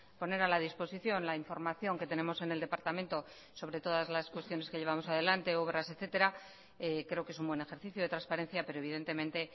poner a la disposición la información que tenemos en el departamento sobre todas las cuestiones que llevamos adelante obras etcétera creo que es un buen ejercicio de transparencia pero evidentemente